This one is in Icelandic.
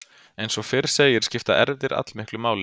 Eins og fyrr segir skipta erfðir allmiklu máli.